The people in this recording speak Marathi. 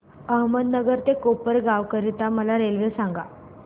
अहमदनगर ते कोपरगाव करीता मला रेल्वे सांगा